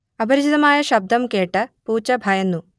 അപരിചിതമായ ശബ്ദം കേട്ട പൂച്ച ഭയന്നു